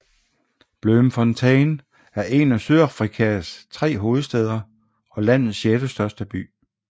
Bloemfontein er en af Sydafrikas tre hovedstæder og landets sjettestørste by